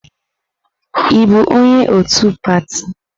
Ị bụ onye otu pati?